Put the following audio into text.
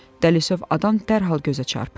Dəlisov adam dərhal gözə çarpır.